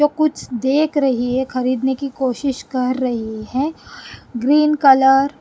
जो कुछ देख रही है खरीदने की कोशिश कर रही है ग्रीन कलर --